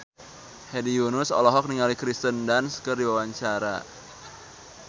Hedi Yunus olohok ningali Kirsten Dunst keur diwawancara